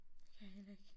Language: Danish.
Kan jeg heller ikke